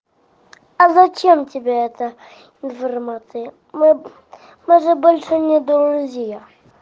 а зачем тебе это информация мы мы же больше не друзья